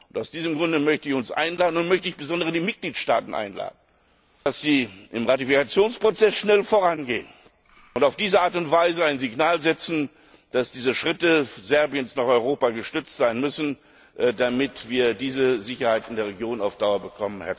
Aus diesem Grunde möchte ich uns und insbesondere die Mitgliedstaaten einladen, dass sie im Ratifikationsprozess schnell vorangehen und auf diese Art und Weise ein Signal senden, dass diese Schritte Serbiens nach Europa gestützt werden müssen, damit wir die Sicherheit in der Region auf Dauer bekommen.